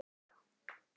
Spælt egg.